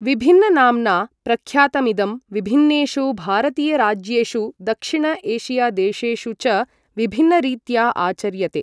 विभिन्ननाम्ना प्रख्यातमिदं, विभिन्नेषु भारतीयराज्येषु दक्षिण एशियादेशेषु च विभिन्नरीत्या आचर्यते।